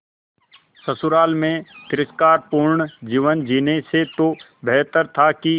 ससुराल में तिरस्कार पूर्ण जीवन जीने से तो बेहतर था कि